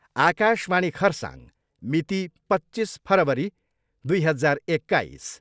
आकाशवाणी खरसाङ मिति, पच्चिस फरवरी दुई हजार एक्काइस।